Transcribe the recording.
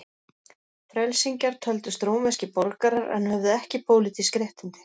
Frelsingjar töldust rómverskir borgarar en höfðu ekki pólitísk réttindi.